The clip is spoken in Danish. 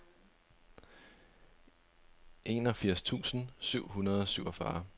enogfirs tusind syv hundrede og syvogfyrre